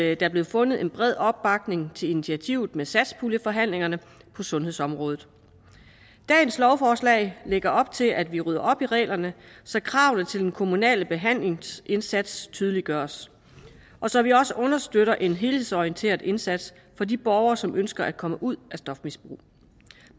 er blevet fundet en bred opbakning til initiativet med satspuljeforhandlingerne på sundhedsområdet dagens lovforslag lægger op til at vi rydder op i reglerne så kravene til den kommunale behandlingsindsats tydeliggøres og så vi også understøtter en helhedsorienteret indsats for de borgere som ønsker at komme ud af et stofmisbrug